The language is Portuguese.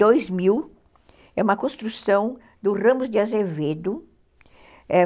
Dois mil, é uma construção do Ramos de Azevedo.